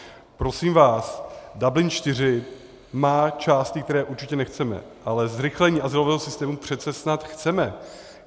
Prosím vás, Dublin IV má části, které určitě nechceme, ale zrychlení azylového systému přece snad chceme.